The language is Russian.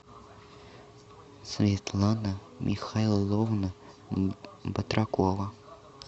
светлана михайловна батракова